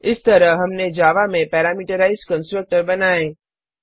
इस तरह हमने जावा में पैरामीटराइज्ड कंस्ट्रक्टर बनाए